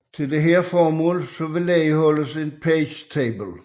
Til dette formål vedligeholdes en page table